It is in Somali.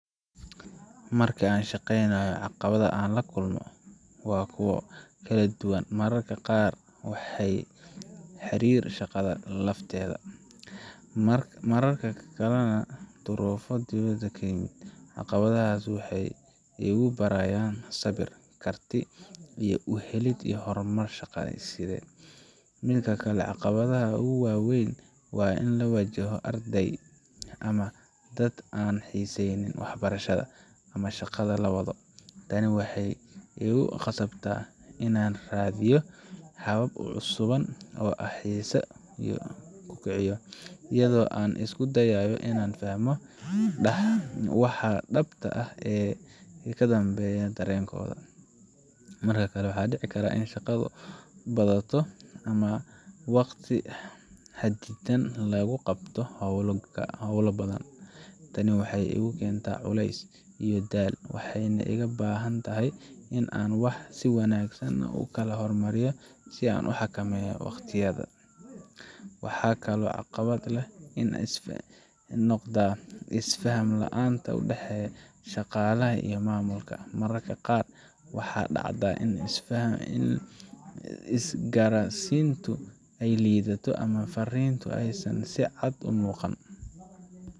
Marka aan shaqaynayo, caqabadaha aan la kulmo waa kuwo kala duwan, mararka qaarna waxay la xiriiraan shaqada lafteeda, mararka kalena waa duruufo dibadda iga yimid. Caqabadahaas waxay igu barayaan sabir, karti xal u helid, iyo horumar shaqsiyeed. Mid ka mid ah caqabadaha ugu waaweyn waa in la waajaho arday ama dad aan xiisaynayn waxbarashada ama shaqada la wado. Tani waxay igu khasabtaa inaan raadiyo habab cusub oo aan xiisaha ugu kiciyo, iyadoo aan isku dayayo inaan fahmo waxa dhabta ah ee ka dambeya dareenkooda. Mar kale, waxaa dhici karta in shaqadu badato ama waqti xaddidan lagu qabto hawlo badan. Tani waxay igu keentaa culays iyo daal, waxayna iga baahan tahay in aan wax si wanaagsan u kala hormariyo oo aan xakameeyo waqtigayga. Waxaa kaloo caqabad igu noqda isfaham la'aanta u dhexeysa shaqaalaha ama maamulka mararka qaar waxaa dhacda in isgaarsiintu ay liidato ama farriintu aysan si cad u muuqan